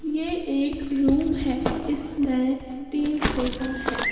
ये एक रूम है इसमें तीन सोफा है।